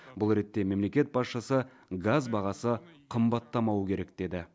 бұл ретте мемлекет басшысы газ бағасы қымбаттамауы керек деді